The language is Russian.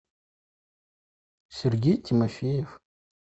сергей тимофеев